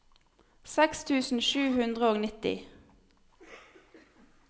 seks tusen sju hundre og nitti